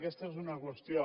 aquesta és una qüestió